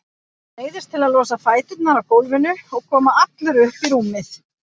Neyðist til að losa fæturna af gólfinu og koma allur upp í rúmið.